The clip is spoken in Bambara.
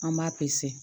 An b'a